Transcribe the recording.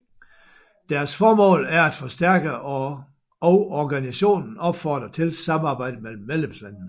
Deres formål er at forstærke og organisationen opfordrer til samarbejde mellem medlemslandene